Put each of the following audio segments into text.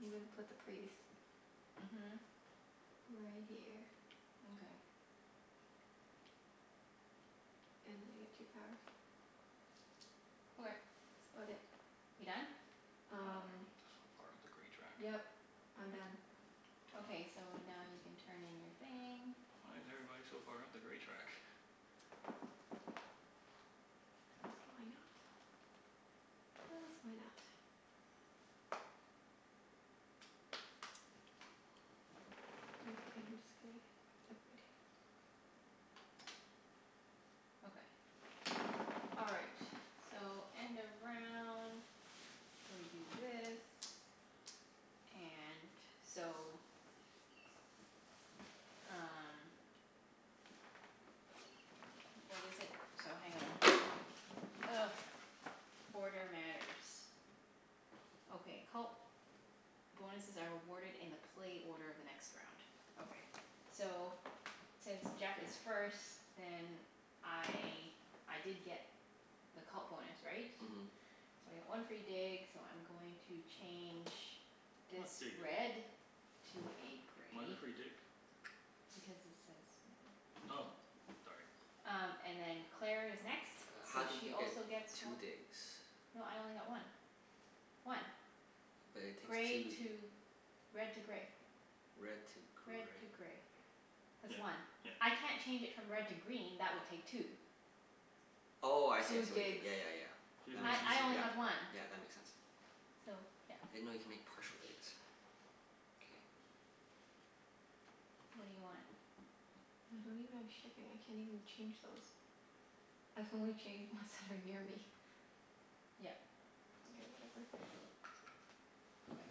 I'm gonna put the priest Mhm. right here. Mkay. And then I get two power. Okay. That's about it. You done? Wow, Um everyone is so far up the gray track. Yep, I'm done. Damn. Okay, so now you can turn in your thing. Why is everybody so far up the gray track? Cuz why not? Cuz why not? Mkay, I'm just gonna get every dig. Okay. All right, so end of round. So we do this, and so Um What is it? So hang on. Ugh. Order matters. Okay, cult bonuses are awarded in the play order of the next round. Okay. So since Jeff is first then I, I did get the cult bonus, right? Mhm. So I get one free dig so I'm going to change Not this dig, red. To is it? a Why the gray. free dig? Because it says right there. Oh, sorry. Um and then Claire is next, Uh how so did she you get also gets two one. digs? No, I only got one. One. But it takes Gray two to, red to gray. Red to Red gray. to gray. That's Yeah one. yeah. I can't change it from red to green. That would take two. Oh, I see I Two see what you did. digs. Yeah yeah yeah. She That doesn't makes I sense. I only Yeah, have one. yeah, that makes sense. So, yeah. I didn't know you could make partial digs. K. What do you want? I don't even have shipping. I can't even change those. I can only change ones that are near me. Yep. Mkay, whatever. Okay.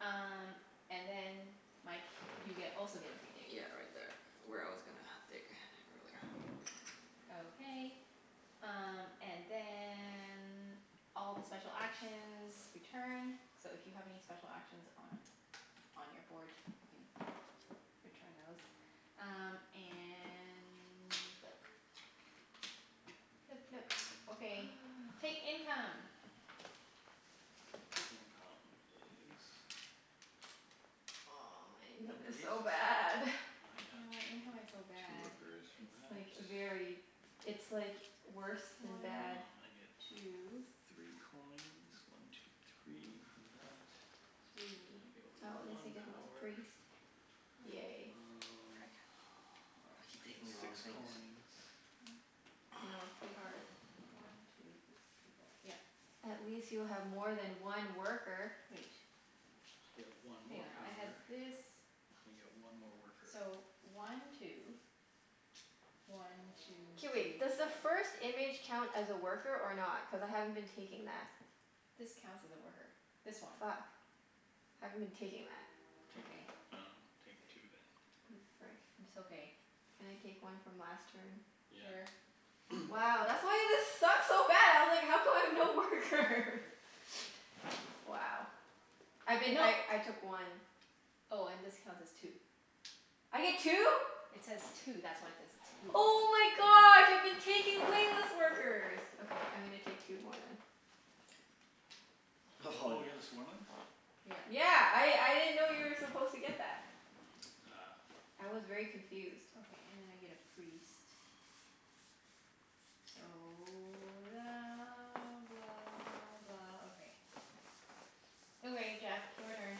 Um and then Mike you get also get a free dig. Yeah, right there where I was gonna dig earlier. Okay. Um and then all the special actions return. So if you have any special actions on on your board, you can return those. Um and we flip. Flip, flip. Okay, take income. Income is Oh, my income One is priests. so bad. And I got Yeah, my income is so two bad. workers for It's that. like very, it's like worse One than two. Um bad. I get three coins, one two three, from that. I Three. get Oh, at least I one get a little power. priest. Yay. Frick, Um I keep I get taking the wrong six things. coins. I I know. It's know, pretty hard. it's pretty hard. One two three four. Yep. At least you have more than one worker. Wait. I get Hang one more on. power. I had And I get one more this, worker. so one two, one two K, three wait. Does the first image count as a worker or not? Cuz I haven't been taking that. This counts as a worker. This one. Fuck. I haven't been taking that. Take, I dunno, take two then. Oh, frick. It's okay. Can I take one from last turn? Sure. Yeah. Wow, that's why this sucked so bad. I was like, how come I have no workers? Wow. I've been, No. I I took one. Oh, and this counts as two. I get two? It says two. That's why it says two. Oh my gosh, I've been taking way less workers. Okay, I'm gonna take two more then. Oh you got the swarmlings? Yeah. Yeah. I Ah. I didn't know you were supposed to get that. Ah. I was very confused. Okay, and then I get a priest. So la blah blah, okay. Okay Jeff, your turn.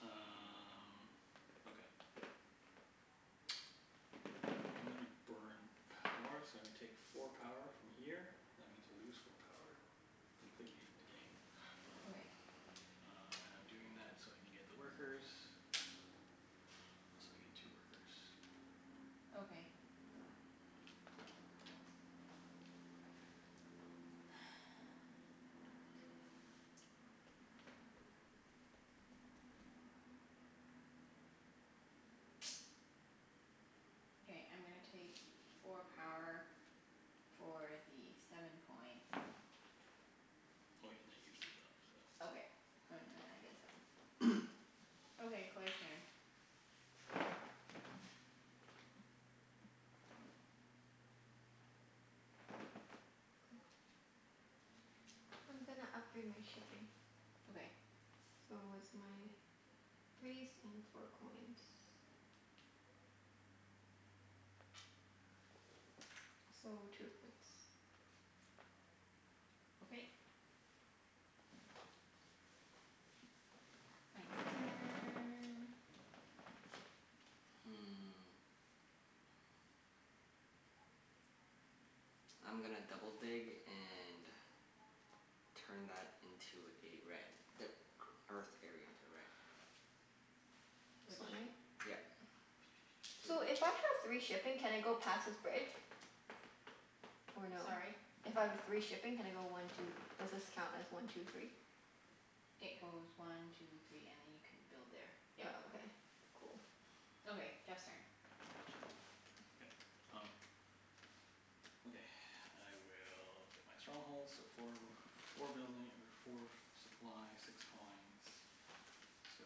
Uh okay. I'm gonna burn power, so I'm gonna take four power from here. That means I lose four power completely from the game. Okay. Uh and I'm doing that so I can get the workers. Oh, so I get two workers. Okay. Okay, I'm gonna take four power for the seven coins. Oh yeah, and I Okay. And then I get seven. Okay, Claire's turn. I'm gonna upgrade my shipping. Okay. So it's my priest and four coins. So, two points. Okay. Mike's turn. Hmm. I'm gonna double dig and turn that into a red. The e- earth area into a red. This Which one, right? Yep. Two. So, if I have three shipping can I go past this bridge? Or no? Sorry? If I have three shipping can I go one two, does this count as one two three? It goes one two three and then you can build there, Oh, yep. okay. Cool. Okay, Jeff's turn. Okay, um Okay. I will get my stronghold, so four w- four building or four supply, six coins. So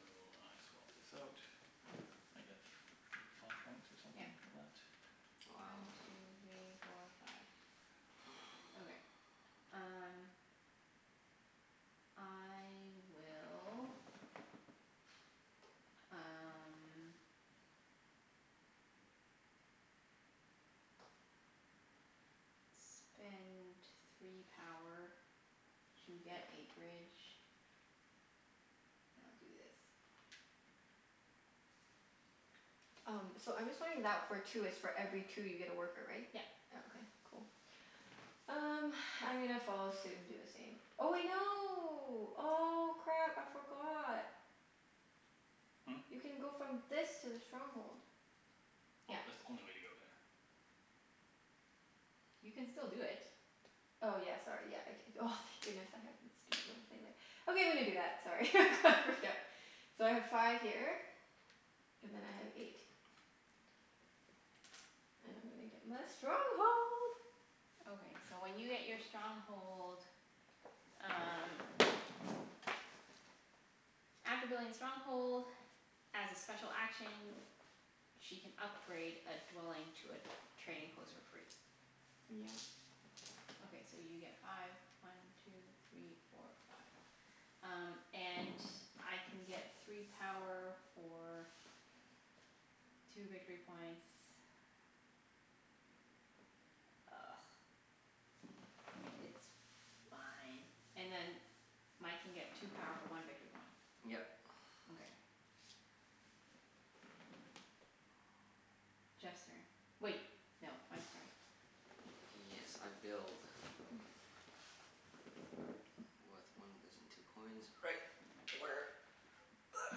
I swap this out. I get f- I get five points or Yep. something for that? Wow. One two three four five. Okay, um I will um spend three power to get a bridge. And I'll do this. Um, so I'm just wondering that for two, it's for every two you get a worker, right? Yep. Oh, okay. Cool. Um, I'm gonna follow suit and do the same. Oh wait, no. Oh, crap. I forgot. Hmm? You can go from this to the stronghold. Oh, Yep. that's the only way to go there. You can still do it. Oh yeah, sorry. Yeah. I c- c- oh, thank goodness, I had a stupid little thing there. Okay, I'm gonna do that. Sorry, I got freaked out. So I have five here and then I have eight. And I'm gonna get my stronghold. Okay, so when you get your stronghold um After building a stronghold, as a special action, she can upgrade a dwelling to a trading post for free. Yeah. Okay, so you get five. One two three four five. Um and I can get three power for two victory points. Ugh. It's fine. And then Mike can get two power for one Yep. victory point. Okay. Jeff's turn. Wait, no. Mike's turn. Yes, I build. With one and two coins. Right. Where That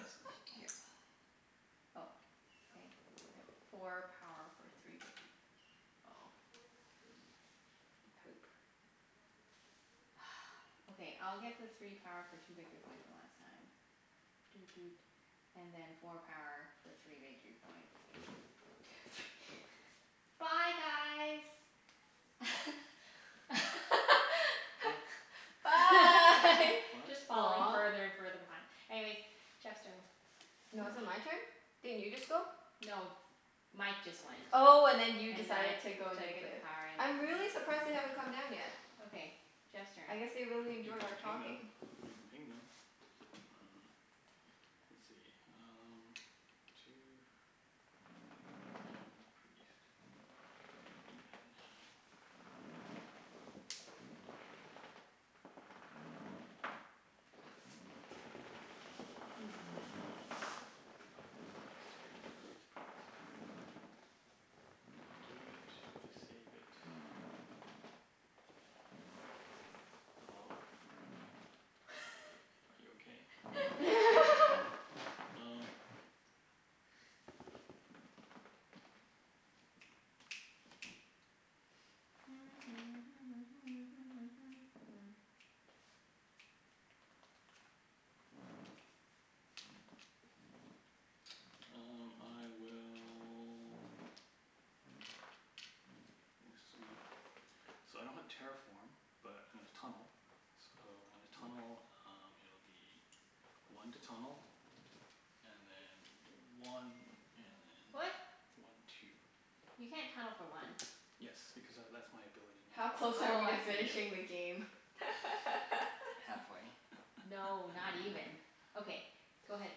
is right here. Oh, okay. Four power for three victor- oh Poop. Okay, I'll get the three power for two victory points one last time. Doot doot. And then four power for three victory points. Two three Bye guys. Huh? Bye. What? Just falling Aw. further and further behind. Anyways, Jeff's turn. I No, is it dunno. my turn? Didn't you just go? No, Mike just went. Oh, and then you And then decided I to go took the negative. power I'm really surprised they haven't come down yet. Okay. Jeff's turn. I guess they really You enjoy can our ping them. talking. You can ping them. Uh let's see, um Two priest. If I do that now Priest priest priest priest. Do I do it? Do I save it? Hello? Are you okay? Um Um I will That's sweet. So I don't have terraform but I'm gonna tunnel. So when I tunnel um it'll be one to tunnel, and then one and then What? one two. You can't tunnel for one. Yes, because tha- that's my ability How close now. are Oh, we to I see. Yeah. finishing the game? Halfway. No, not even. Okay, So, go ahead.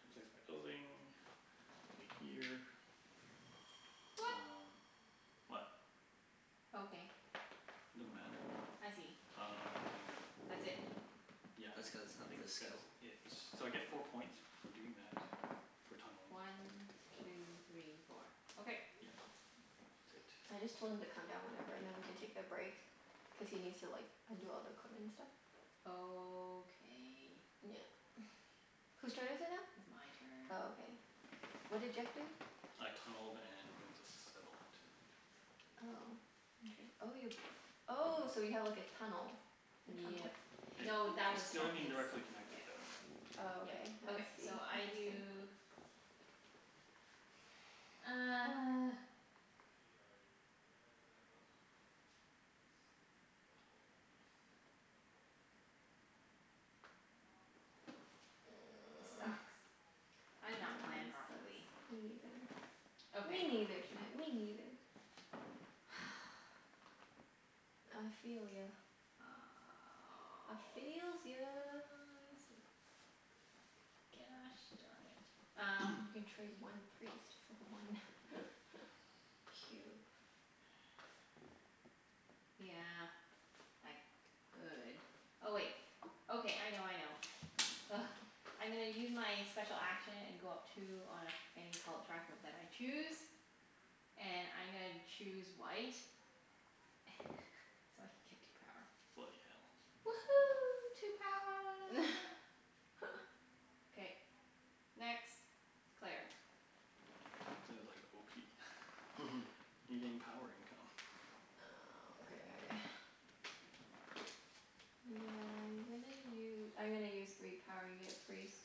I place my building over here. What? Um what? Okay. It doesn't matter. I see. Um That's it. Yeah, That's cuz I of think this skill? that's it. So I get four points for doing that. For tunneling. One two three four. Okay. Yeah, I think that's I just it. told him to come down whenever and then we can take a break. Cuz he needs to like undo all the equipment and stuff. Okay. Yeah. Whose turn is it now? It's my turn. Oh, okay. What did Jeff do? I tunneled and built a settlement. Oh, inter- oh you, oh so you have like a tunnel, a tunnel? Yep. It No, that it's was still from his, Interesting. indirectly connected yeah, though. anyway. Oh, Yep. okay. I Okay, see. so I Interesting. do This sucks. I Yeah, did not plan this sucks. properly. Me neither. Me Okay. neither, Junette, me neither. I feel ya. I feels ya. Sucks. Gosh darn it. Um You can trade one priest for one cube. Yeah, I could. Oh, wait. Okay, I know, I know. Ugh. I'm gonna use my special action and go up two on any cult track of that I choose. And I'm gonna choose white. So I can get two power. Bloody hell. Woohoo, two power. K. Next. Claire. Sounded like You getting power income. Oh, okay. Yeah, I'm gonna u- I'm gonna use three power and get a priest.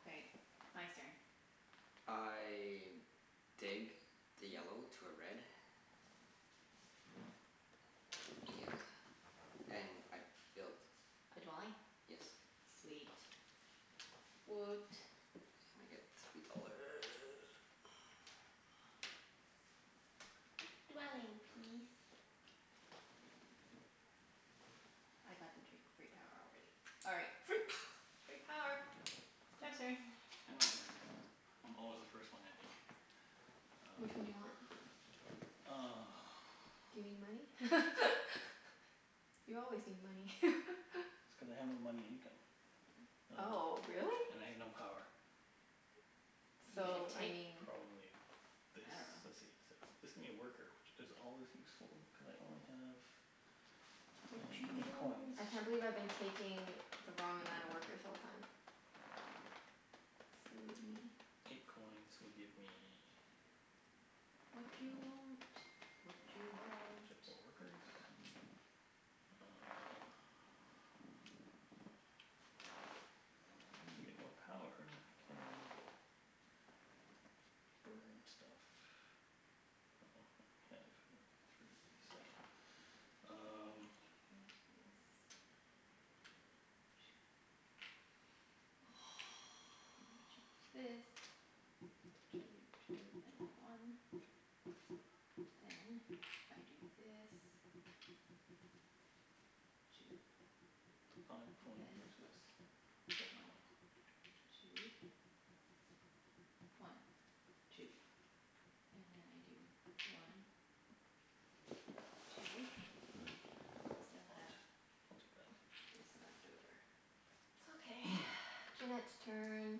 Okay. Mike's turn. I dig the yellow to a red. Yeah. And I build. A dwelling? Yes. Sweet. Woot. And I get three dollar. Dwelling peas. I got the tree free power already. All right. Free power. Free power. Jeff's turn. End my turn. I'm always the first one ending. Which one do you want? Um Do you need money? You always need money. That's cuz I have no money income, uh Oh, really? and I have no power. You So, So, should I take, mean probably this? I dunno. Let's see. So, this could be a worker which is always useful, cuz I only have I have Watchu eight coins. want? I can't believe I've been taking the wrong amount of workers the whole time. Silly me. Eight coins would give me Watchu want? Watchu want? more workers. Um To get more power I can burn stuff. Well, I have three, so Great. I'm gonna Um change this. And change this. Two two and a one. Then if I do this, two Five and coin then versus one one coin. two. One two. And then I do one What? two. Still have I'll take that. this left over. Okay, Junette's turn.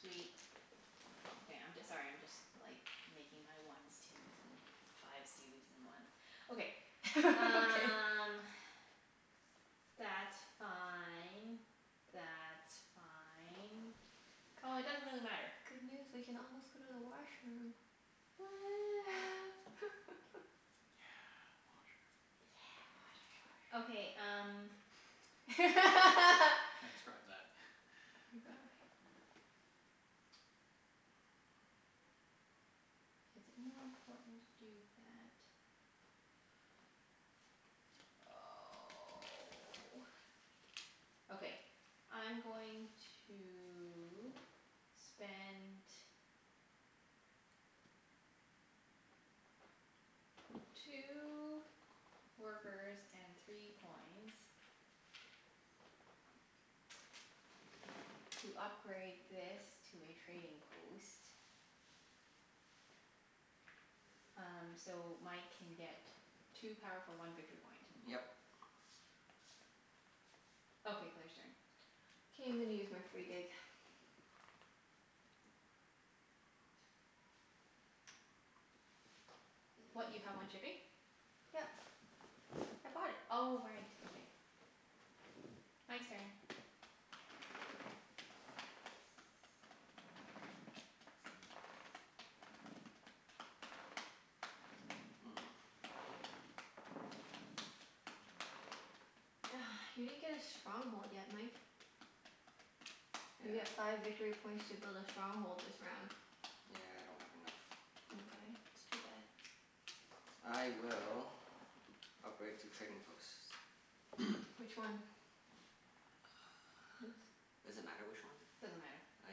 Sweet. Okay, I'm j- sorry, I'm just like making my ones twos and fives twos and ones. Okay. Okay. Um that's fine. That's fine. Oh, it doesn't Guys, really matter. good news. We can almost go to the washroom. Woo. Yeah, washroom. Yeah, Yeah, washroom. Okay, um washroom. Transcribe that. Oh my gosh. Is it more important to do that? Oh. Okay, I'm going to spend two workers and three coins to upgrade this to a trading post. Um so Mike can get two power for one victory point. Yep. Okay, Claire's turn. K, I'm gonna use my free dig. What, you have one shipping? Yep. I bought it. Oh right. Okay. Mike's turn. Hmm. You didn't get a stronghold yet, Mike. You get Yeah. five victory points to build a stronghold this round. Yeah, I don't have enough. Mkay, that's too bad. I will upgrade two trading posts. Which one? Does it matter which one? Doesn't matter. Oh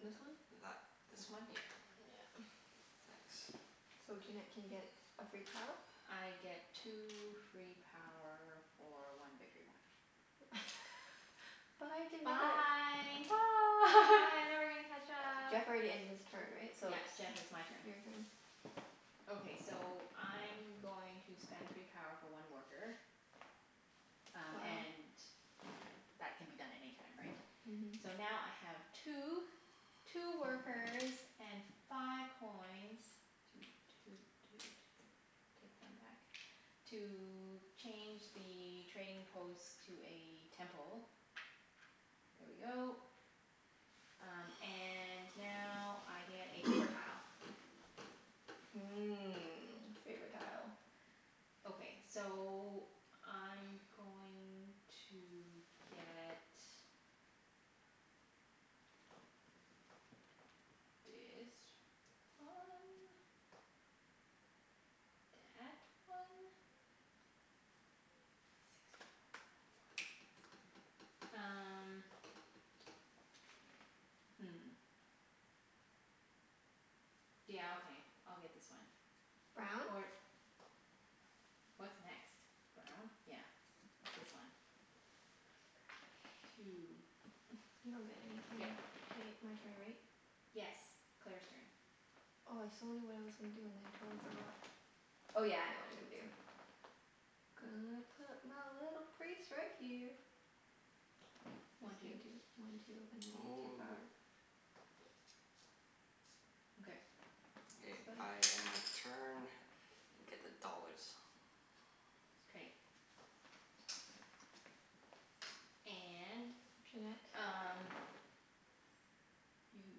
This yeah, one? th- that this This one. one? Yeah. Yeah. Thanks. So Junette Yeah. can get a free power? I get two free power for one victory point. Bye, Junette. Bye. Bye. Bye, I'm never gonna catch up. Jeff already ended his turn, right? So Yep, it's Jeff, Yeah. it's my turn. your turn. Okay, so I'm going to spend three power for one worker. Um Wow. and that can be done any time, right? So Mhm. now I have two two workers and five coins Toot toot toot. Take one back. To change the trading post to a temple. There we go. Um and now I get a favor tile. Mmm, favor tile. Okay. So I'm going to get Dis one. Dat one. Six power um hmm. Yeah, okay. I'll get this one. Brown? Or What's next? Brown? Yeah. This one. Two. You don't get anything. Yep. K, my turn, right? Yes. Claire's turn. Oh, I so knew what I was gonna do and then I totally forgot. Oh, yeah. I know what I'm gonna do. Gonna put my little priest right here. This One two. can do one two and then I get two power. Okay. K, That's I about it. end my turn and get the dollars. K. And Junette? um You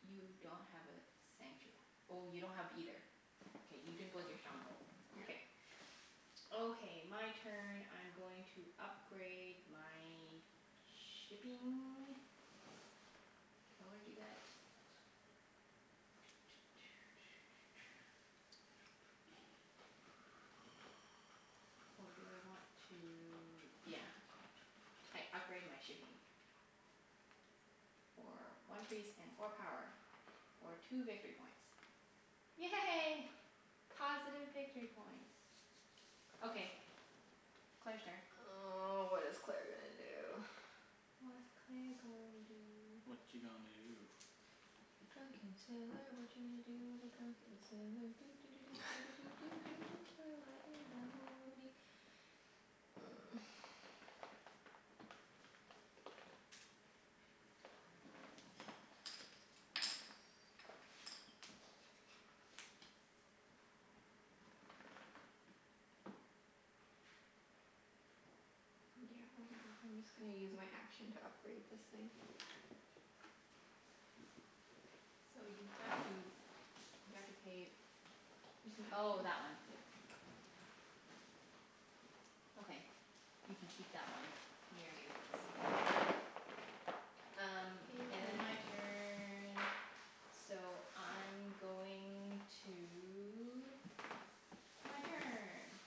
you don't have a sanctu- oh, you don't have either. K, you didn't build your stronghold. Yeah. K. Okay. My turn. I'm going to upgrade my shipping. Do I wanna do that? Or do I want to, yeah. I upgrade my shipping. For one priest and four power. For two victory points. Yay. Positive victory points. Okay, Claire's turn. Oh, what is Claire gonna do? What's Claire gonna do? Watcha gonna do? Drunken sailor, watcha gonna do with a drunken sailor, doo doo doo doo doo doo doo doo doo early in the morning. Yeah, why not? I'm just gonna use my action to upgrade this thing. So you have to, you have to pay, It's my oh, action. that one. Yeah. Okay. You can keep that one near you so then Um Your and then turn. my turn. So I'm going to, my turn.